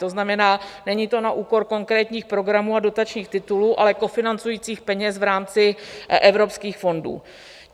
To znamená, není to na úkor konkrétních programů a dotačních titulů, ale kofinancujících peněz v rámci evropských fondů.